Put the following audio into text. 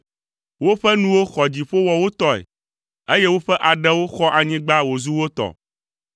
Woƒe nuwo xɔ dziƒo wɔ wo tɔe, eye woƒe aɖewo xɔ anyigba wòzu wo tɔ.